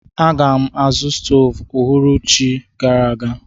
Aga m azụ stoovu ọhụrụ echi gara aga.